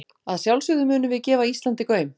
Að sjálfsögðu munum við gefa Íslandi gaum.